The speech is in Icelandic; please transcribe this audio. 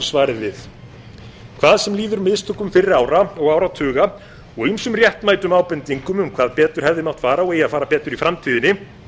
svarið við hvað sem líður mistökum fyrri ára og áratuga og ýmsum réttmætum ábendingum um hvað betur hefði átt fara og eigi að fara betur í framtíðinni